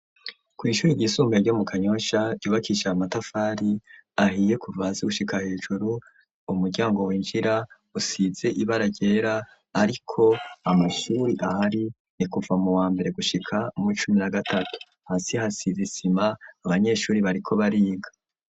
Kw ishuri ryisumbuye ryo mu kanyosha ryubakishe amatafari ahiye kuva hasi gushika hejuru .Umuryango w'injira usize ibara ryera ariko amashuri ahari ni kuva mu wa mbere gushika mu cumi nagatatu hasi hasize isima abanyeshuri bariko bariga.